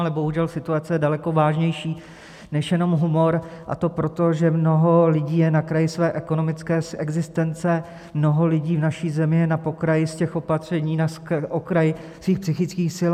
Ale bohužel situace je daleko vážnější než jenom humor, a to proto, že mnoho lidí je na kraji své ekonomické existence, mnoho lidí v naší zemi je na pokraji z těch opatření, na pokraji svých psychických sil.